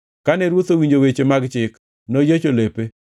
Kane ruoth owinjo weche mag Chik, noyiecho lepe.